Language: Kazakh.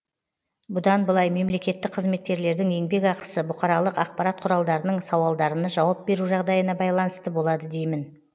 бұдан былай мемлекеттік қызметкерлердің еңбек ақысы бұқаралық ақпарат құралдарының сауалдарына жауап беру жағдайына байланысты болады деймін